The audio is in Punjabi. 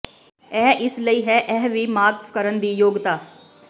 ਇਹ ਇਸ ਲਈ ਹੈ ਇਹ ਵੀ ਮਾਫ਼ ਕਰਨ ਦੀ ਯੋਗਤਾ